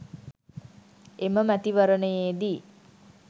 එම මැතිවරණයේ දී